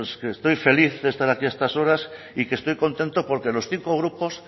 que estoy feliz de estar aquí a estas horas y que estoy contento porque los cinco grupos